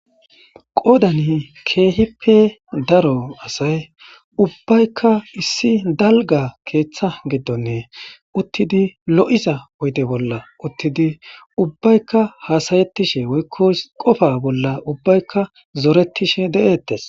qoodani keehippe daro asay ubbaykka issi dalga keeththa giddonne uttidi lo'iza oyde bolla uttidi ubbaykka haasayettishe woykko qofa bolla ubbaykka zoretishe de'ettes